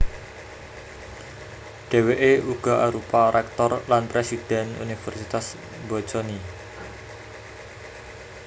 Dhèwèké uga arupa réktor lan présidhèn Universitas Bocconi